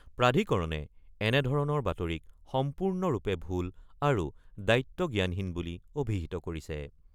প্ৰাধিকৰণে এনেধৰণৰ বাতৰিক সম্পূৰ্ণৰূপে ভুল আৰু দায়িত্ব জ্ঞানহীন বুলি অভিহিত কৰিছে।